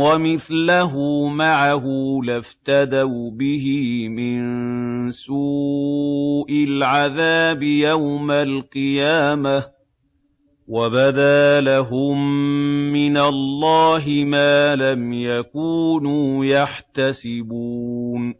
وَمِثْلَهُ مَعَهُ لَافْتَدَوْا بِهِ مِن سُوءِ الْعَذَابِ يَوْمَ الْقِيَامَةِ ۚ وَبَدَا لَهُم مِّنَ اللَّهِ مَا لَمْ يَكُونُوا يَحْتَسِبُونَ